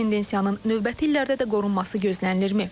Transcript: Tendensiyanın növbəti illərdə də qorunması gözlənilirmi?